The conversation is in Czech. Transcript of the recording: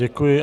Děkuji.